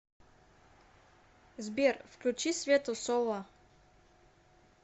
сбер включи свету солла